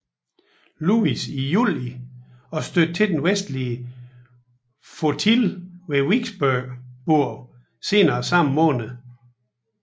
Louis i juli og stødte til Den vestlige Flotille ved Vicksburg senere samme måned